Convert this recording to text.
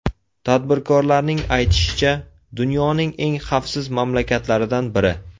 Tadbirkorlarning aytishicha, dunyoning eng xavfsiz mamlakatlaridan biri.